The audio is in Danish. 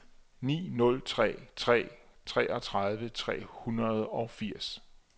ni nul tre tre treogtredive tre hundrede og firs